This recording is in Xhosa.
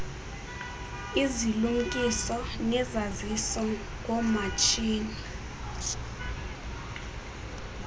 izilumkiso nezaziso ngoomatshini